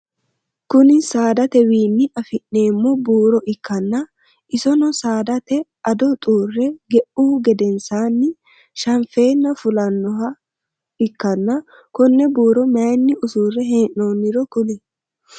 Kunni saadatewiinni afi'neemo buuro ikanna isonno saadate ado xuure ge'uhu gedensaanni shanfeenna fullanoha ikanna konne buuro mayinni usure hee'noonniro kuli?